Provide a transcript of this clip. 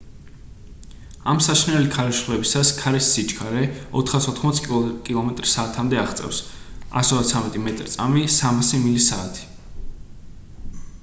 ამ საშინელი ქარიშხლებისას ქარის სიჩქარე 480 კმ/სთ-მდე აღწევს 133 მ/წმ; 300 მლ/სთ